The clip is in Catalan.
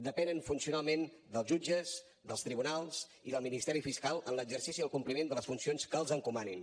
depenen funcionalment dels jutges dels tribunals i del ministeri fiscal en l’exercici i el compliment de les funcions que els encomanin